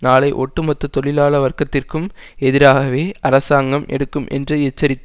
நாளை ஒட்டுமொத்த தொழிலாள வர்கத்திற்கும் எதிராகவே அரசாங்கம் எடுக்கும் என்று எச்சரித்தோம்